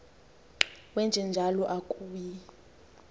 wenje njalo akuyi